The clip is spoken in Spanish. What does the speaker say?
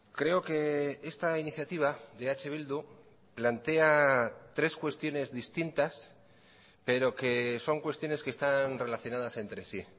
creo que esta iniciativa de eh bildu plantea tres cuestiones distintas pero que son cuestiones que están relacionadas entre sí